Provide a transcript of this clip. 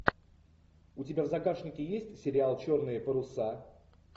у тебя в загашнике есть сериал черные паруса